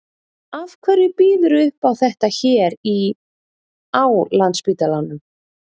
Af hverju býðurðu upp á þetta hér í, á Landspítalanum?